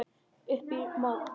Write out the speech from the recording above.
Upp í mót.